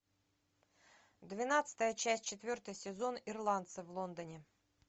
двенадцатая часть четвертый сезон ирландцы в лондоне